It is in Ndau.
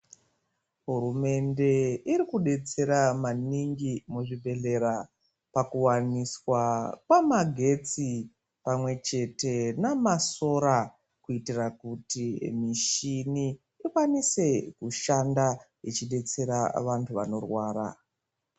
Hurumende irikudetsera maningi muzvibhedhlera pakuwaniswa kwamagetsi pamwechete namasora kuitira kuti mushini ikwanise kushanda ichidetsera vantu vanorwara.